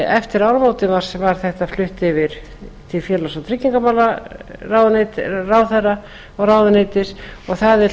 eftir áramótin var þetta flutt yfir til félags og tryggingamálaráðherra og ráðuneytis og það er